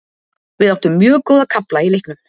Við áttum mjög góða kafla í leiknum.